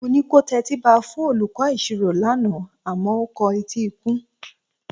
Mo ní kò tẹtíba fún olùkọ́ ìṣirò rẹ lánàá a máa o kọ etí ikún